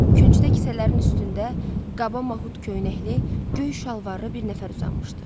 Küncdə hissələrin üstündə qaba mahut köynəkli, göy şalvarlı bir nəfər uzanmışdı.